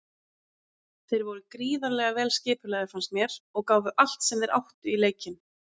Þeir voru gríðarlega vel skipulagðir fannst mér og gáfu allt sem þeir áttu í leikinn.